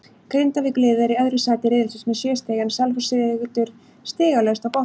Grindavíkurliðið er í öðru sæti riðilsins með sjö stig en Selfoss situr stigalaust á botninum.